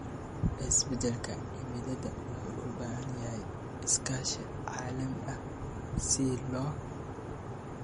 Isbedelka cimilada wuxuu u baahan yahay iskaashi caalami ah si loo